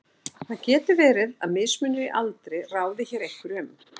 Verið getur að mismunur í aldri ráði hér einhverju um.